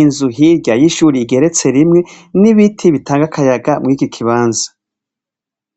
inzu hirya yishur' igeretse rimwe, n'ibiti bitang' akayaga mur 'ico kibanza